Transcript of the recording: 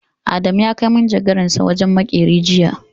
Adamu ya kai manjagaransa wajen maƙeri jiya.